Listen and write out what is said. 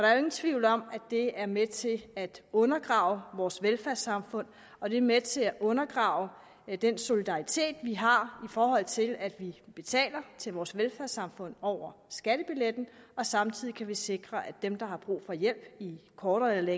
er jo ingen tvivl om at det er med til at undergrave vores velfærdssamfund og det er med til at undergrave den solidaritet vi har i forhold til at vi betaler til vores velfærdssamfund over skattebilletten og samtidig kan vi sikre at dem der har brug for hjælp i kortere eller